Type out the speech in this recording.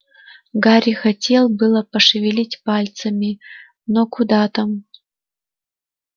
гарри хотел было пошевелить пальцами но куда там